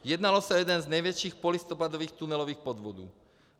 Jednalo se o jeden z největších polistopadových tunelových podvodů.